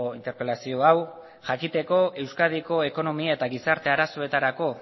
interpelazio hau jakiteko euskadiko ekonomia eta gizarte arazoetarako